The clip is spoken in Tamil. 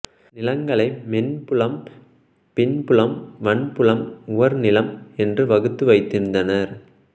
நிலங்களை மென்புலம் பின்புலம் வன்புலம் உவர்நிலம் என்று வகுத்து வைத்திருந்தனர்